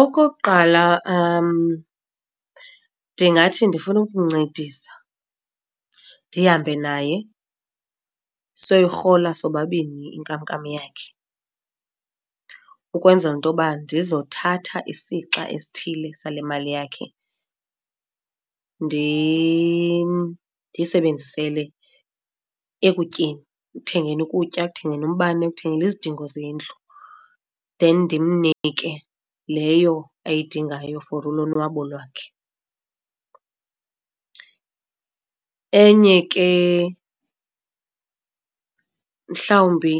Okokuqala ndingathi ndifuna ukuncedisa ndihambe naye soyirhola sobabini inkamnkam yakhe, ukwenzela into yoba ndizothatha isixa esithile sale mali yakhe ndiyisebenzisele ekutyeni, ekuthengeni ukutya, ekuthengeni umbane, ekuthengeni izidingo zendlu. Then ndimnike leyo ayidingayo for ulonwabo lwakhe. Enye ke mhlawumbi